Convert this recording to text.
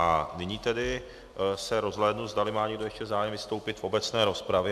A nyní tedy se rozhlédnu, zdali má někdo ještě zájem vystoupit v obecné rozpravě.